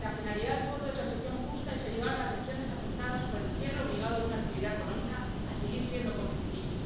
La finalidad del Fondo de Transición Justa es ayudar a las regiones afectadas por el cierre obligado de una actividad económica a seguir siendo competitivas.